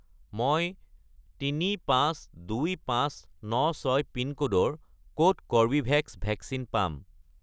মই 352596 পিনক'ডৰ ক'ত কৰ্বীভেক্স ভেকচিন পাম?